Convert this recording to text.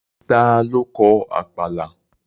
Ta ló kọ Àpàlà?